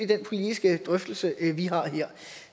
den politiske drøftelse vi har her